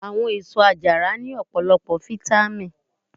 Àwọn èsó àjàrà ní ọpọlọpọ fitamì.